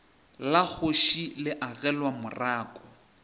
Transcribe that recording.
la kgoši le agelwa morako